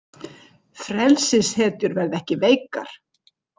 Frelsishetjur verða ekki veikar.